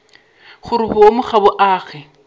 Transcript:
gore boomo ga bo age